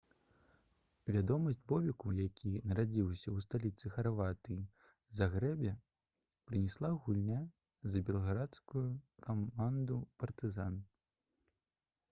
вядомасць бобеку які нарадзіўся ў сталіцы харватыі загрэбе прынесла гульня за белградскую каманду «партызан»